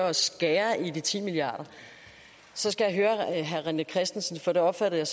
at skære i de ti milliarder så skal jeg høre herre rené christensen for det opfattede